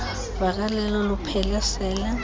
vakalelo luphele sela